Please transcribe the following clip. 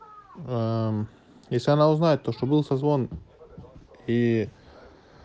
аа мм если она узнает то что был созвон и